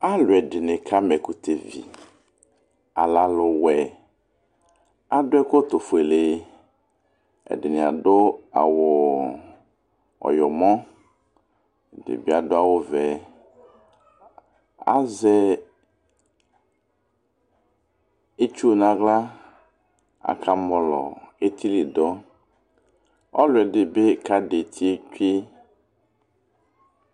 Alu ɛdɩnɩ kama ɛkʋtɛvi, alɛ aluwɛ Adu ɛkɔtɔfuele Ɛdinɩ adu awu ɔyɔmɔ, ɛdɩ bɩ adu awuvɛ Azɛ itsu nʋ aɣla, akamɔlɔ etili du, ɔlɔdɩ bɩ kavi eti tsue